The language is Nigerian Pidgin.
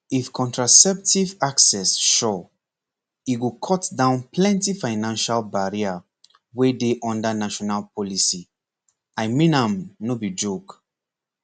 if contraceptive access sure e go cut down plenty financial barrier wey dey under national policy i mean am no be joke